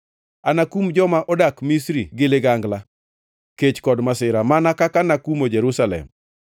Anakum joma odak Misri gi ligangla, kech kod masira, mana kaka nakumo Jerusalem.